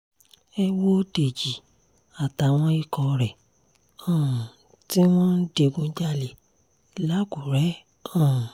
ẹ wo dèjì àtàwọn ikọ̀ rẹ̀ um tí wọ́n ń digunjalè lákùrẹ́ um